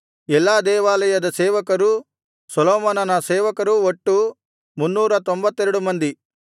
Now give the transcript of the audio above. ಎಲ್ಲಾ ದೇವಾಲಯದ ಸೇವಕರೂ ಸೊಲೊಮೋನನ ಸೇವಕರು ಒಟ್ಟು 392 ಮಂದಿ